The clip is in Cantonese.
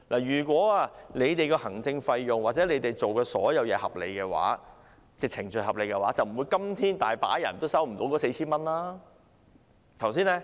如果行政費或政府所有做事的程序都合理，今天便不會有很多人仍未收到那 4,000 元。